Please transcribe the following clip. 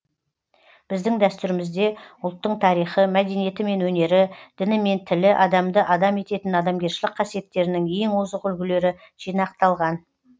біздің дәстүрімізде ұлттың тарихы мәдениеті мен өнері діні мен тілі адамды адам ететін адамгершілік қасиеттерінің ең озық үлгілері жинақталған